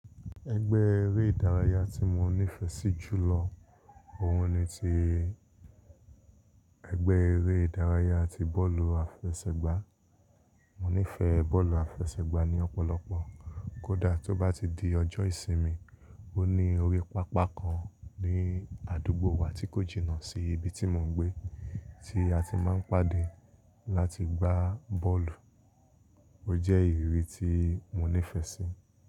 Ẹgbẹ́ eré ìdárayá tí mo nífẹ̀ẹ́ sí jù lọ Òun ni ti, ẹgbẹ́ eré ìdárayá ti bọ́ọ̀lù àfẹsẹ̀gbá. Mo nífẹ̀ẹ́ bọ́ọ̀lù àfẹsẹ̀gbá ní ọ̀pọ̀lọpọ̀ kódà tó bá ti di ọjọ́ ìsinmi, ó ní orí pápá kan ní àdúgbò wa tí kò jìnnà sí ibi tí mò ń gbé, tí a ti máa ń pàdé láti gbá bọ́ọ̀lù. Ó jẹ́ ìrírí tí mo nífẹ̀ẹ́ sí.